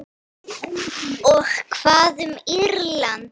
Og hvað um Írland?